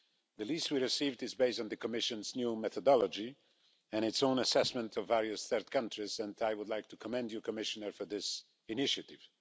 The list we received is based on the Commission's new methodology and its own assessment of various third countries and I would like to commend you, Commissioner, for this initiative.